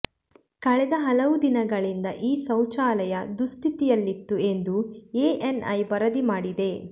ಕಳೆದ ಹಲವು ದಿನಗಳಿಂದ ಈ ಶೌಚಾಲಯ ದುಸ್ಥಿತಿಯಲ್ಲಿತ್ತು ಎಂದು ಎಎನ್ಐ ವರದಿ ಮಾಡಿದೆ